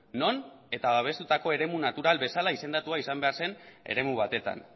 non eta babestutako eremu natural bezala izendatua izan behar zen eremu batetan